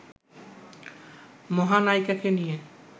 মহানায়িকাকে নিয়ে